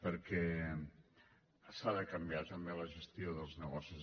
perquè s’ha de canviar també la gestió dels negocis